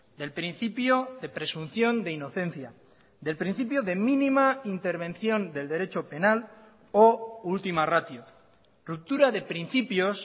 del principio de presunción de inocencia del principio de mínima intervención del derecho penal o ultima ratio ruptura de principios